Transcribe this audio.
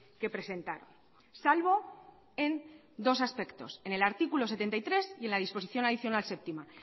que presentaron salvo en dos aspectos en el artículo setenta y tres y en la disposición adicional séptima